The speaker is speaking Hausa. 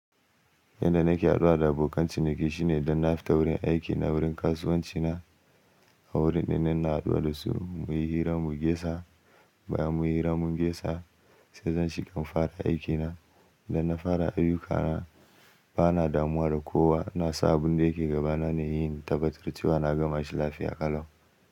Yanda nake haduwa da abokanci niki shine dan na fita wurin aikina wurin kasuwancina a wurin da ina na haduwa da su muyi hira muge sa bayan muyi hira muge sa sai zan shiga in fara aikina. Dan na fara ayyuka na bana damuwa da kowa na sa abun da yake gabana ne yin tabatarce wa na gama shi lafiya ƙalau.